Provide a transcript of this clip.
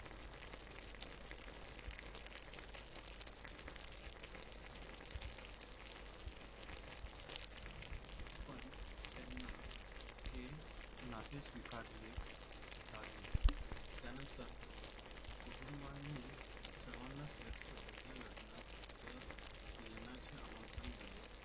पण त्यांना हे नाते स्वीकारले लागले त्या नंतर कुटुंबांनी सर्वाना सैफच्या पहिल्या लग्नात येण्याचे आमंत्रन दिले.